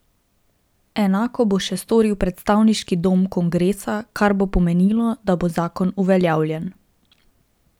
Enako bo še storil predstavniški dom kongresa, kar bo pomenilo, da bo zakon uveljavljen.